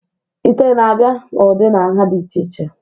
ite na-abịa n'ụdị na nha dị iche iche